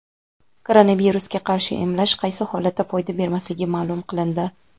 Koronavirusga qarshi emlash qaysi holatda foyda bermasligi ma’lum qilindi.